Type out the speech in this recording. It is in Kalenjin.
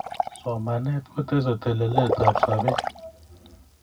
somanet kotesei telelet ap sapet